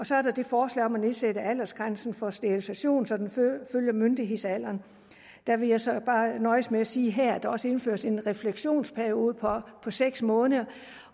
så er der det forslag om at nedsætte aldersgrænsen for sterilisation så den følger myndighedsalderen der vil jeg så bare nøjes med at sige her at der også indføres en refleksionsperiode på seks måneder